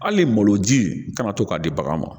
Hali maloji kana to k'a di bagan ma